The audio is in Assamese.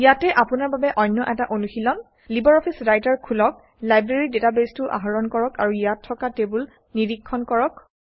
ইয়াতে আপোনাৰ বাবে অন্য এটা অনুশীলন ১ লিবাৰঅফিচ ৰাইটাৰ খোলক লাইব্ৰেৰী ডাটাবেছটো আহৰণ কৰক আৰু ইয়াত থকা টেবুল নিৰীক্ষণ কৰক